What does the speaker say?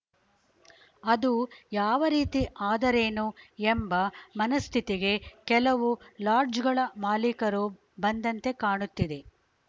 ಅದು ಯಾವ ರೀತಿ ಆದರೇನು ಎಂಬ ಮನಃಸ್ಥಿತಿಗೆ ಕೆಲವು ಲಾಡ್ಜ್‌ಗಳ ಮಾಲೀಕರು ಬಂದಂತೆ ಕಾಣುತ್ತಿದೆ